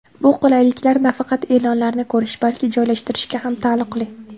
Bu qulayliklar nafaqat e’lonlarni ko‘rish, balki joylashtirishga ham taalluqli.